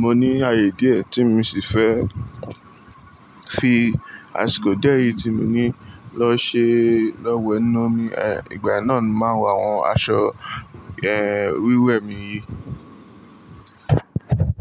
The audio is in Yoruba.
mo ní ààyè díẹ̀ tí mo sì fẹ́ fi àsìkò dié yìí tí mo ní lọ ṣe lọ wẹ̀ inú omi, eh, ìgbàyen náà ni màá wọ àwọn aṣọ, eh, wíwẹ̀ mi yìí.